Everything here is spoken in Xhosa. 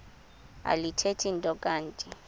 alithethi nto kanti